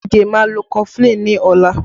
Ige máa lọ kọfulin ni ọla